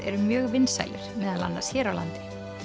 eru mjög vinsælir meðal annars hér á landi